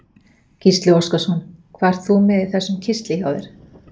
Gísli Óskarsson: Hvað ert þú með í þessum kistli hjá þér?